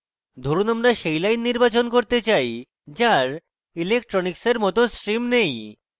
ধরুন আমরা say lines নির্বাচন করতে say যার electronics এর মত stream নেই